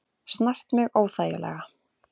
Snart mig óþægilega.